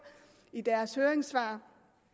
i deres høringssvar